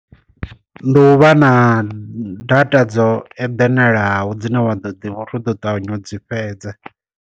Ndi u vha na data dzo eḓenalaho dzine wa ḓo ḓivha uri u ḓo ṱavhanya u dzi fhedza.